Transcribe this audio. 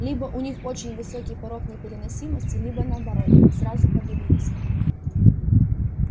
либо у них очень высокий порог непереносимости либо наоборот сразу подавились